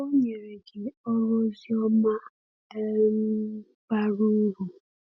O nyere gị ọrụ ozioma um bara uru.”